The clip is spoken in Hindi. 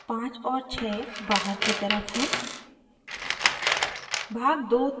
भाग 15 और 6 भाग की तरफ़ है